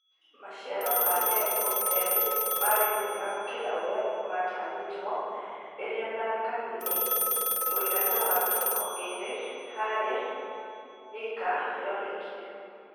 Maciaro ma ndengũ Embu marĩ mega gũkĩra ũrĩa matanyĩtwo rĩrĩa Tharaka Nithi mũigana wa mĩhuko ĩĩrĩ harĩ ĩĩka yonekire